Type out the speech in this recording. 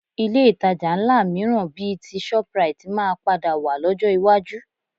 Ilé ìtajà ńlá mìíràn bíi ti shoprite máa padà wà lọ́jọ́ iwájú